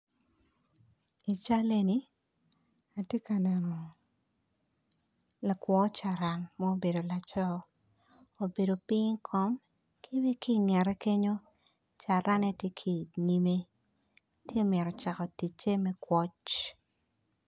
I cal eni atye ka neno lakwo caran obedo piny i kom tye ka mito cako ticce me kwoc